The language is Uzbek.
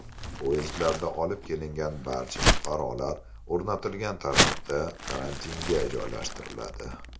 Poyezdlarda olib kelingan barcha fuqarolar o‘rnatilgan tartibda karantinga joylashtiriladi.